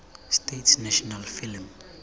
states national film